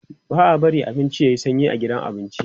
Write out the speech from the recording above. ba'a barin abinci yayi sanyi a gidan abinci